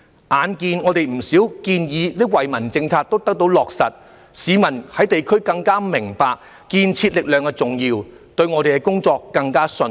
眼見我們不少建議及惠民政策也得到落實，市民在地區更加明白建設力量的重要，對我們的工作更加信任。